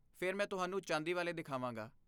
ਫਿਰ ਮੈਂ ਤੁਹਾਨੂੰ ਚਾਂਦੀ ਵਾਲੇ ਦਿਖਾਵਾਂਗਾ।